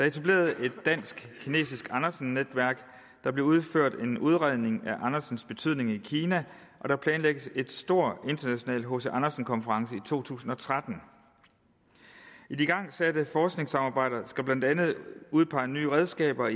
etableret et dansk kinesisk andersen netværk der blev udført en udredning af andersens betydning i kina og der planlægges en stor international hc andersen konference i to tusind og tretten de igangsatte forskningssamarbejder skal blandt andet udpege nye redskaber og